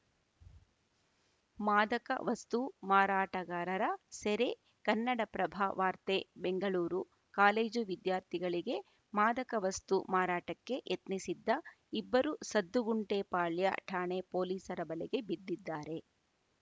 ಮಾದಕ ವಸ್ತು ಮಾರಾಟಗಾರರ ಸೆರೆ ಕನ್ನಡಪ್ರಭ ವಾರ್ತೆ ಬೆಂಗಳೂರು ಕಾಲೇಜು ವಿದ್ಯಾರ್ಥಿಗಳಿಗೆ ಮಾದಕ ವಸ್ತು ಮಾರಾಟಕ್ಕೆ ಯತ್ನಿಸಿದ್ದ ಇಬ್ಬರು ಸದ್ದುಗುಂಟೆ ಪಾಳ್ಯ ಠಾಣೆ ಪೊಲೀಸರ ಬಲೆಗೆ ಬಿದ್ದಿದ್ದಾರೆ